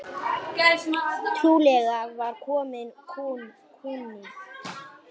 Trúlega var kominn kúnni.